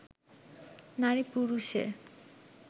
নারী পুরুষে